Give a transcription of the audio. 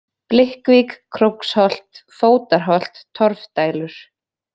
Blikkvík, Króksholt, Fótarholt, Torfdælur